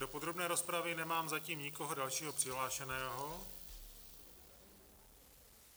Do podrobné rozpravy nemám zatím nikoho dalšího přihlášeného.